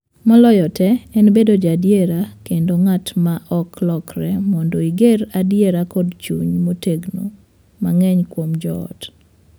Moloyogi tee en bedo ja adier kendo nga’t ma ok lokre mondo iger adiera kod chung’ motegno mang’eny kuom joot.